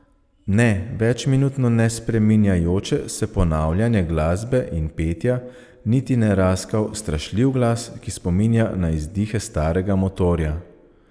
Ne večminutno nespreminjajoče se ponavljanje glasbe in petja niti ne raskav, strašljiv glas, ki spominja na izdihe starega motorja.